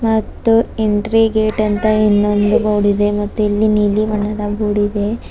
ಮತ್ತು entry gate ಅಂತ ಇನ್ನೊಂದು ಬೋರ್ಡ್ ಇದೆ ಮತ್ತು ಇಲ್ಲಿ ನೀಲಿ ಬಣ್ಣದ ಬೋರ್ಡ್ ಇದೆ.